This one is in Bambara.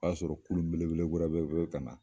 O y'a sɔrɔ kurun belebele wɛrɛ fe ka na